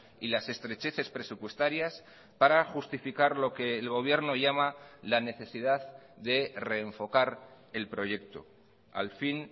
y las estrecheces presupuestarias para justificar lo que el gobierno llama la necesidad de reenfocar el proyecto al fin